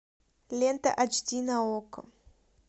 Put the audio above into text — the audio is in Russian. лента айч ди на окко